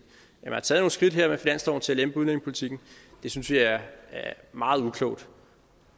man har taget nogle skridt her med finansloven til at lempe udlændingepolitikken og det synes vi er meget uklogt